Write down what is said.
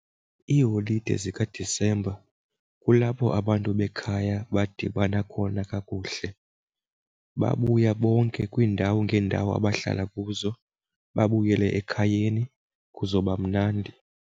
Iiholide zikadisemba kulapho abantu bekhaya badibana khona kakuhle. Babuya bonke kwiindawo ngeendawo abahlala kuzo babuyele ekhayeni kuzoba mnandi.